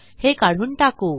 हे काढून टाकू